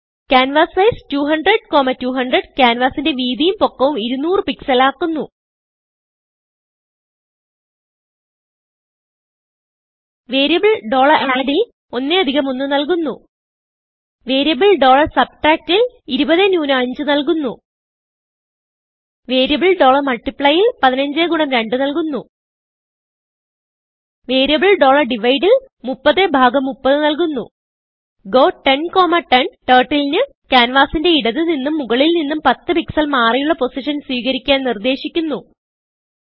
canvas size 200200 ക്യാൻവാസിന്റെ വീതിയും പൊക്കവും 200 pixelആക്കുന്നു വേരിയബിൾ add ൽ 11 നല്കുന്നു വേരിയബിൾ subtract ൽ 20 5 നല്കുന്നു വേരിയബിൾ multiplyൽ 15 2 നല്കുന്നു വേരിയബിൾ divide ൽ 3030 നല്കുന്നു ഗോ 1010 Turtle ന് ക്യാൻവാസിന്റെ ഇടത് നിന്നും മുകളിൽ നിന്നും 10 പിക്സൽ മാറിയുള്ള പൊസിഷൻ സ്വീകരിക്കാൻ നിർദേശിക്കുന്നു